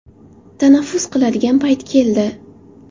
Tanaffus qiladigan payt keldi.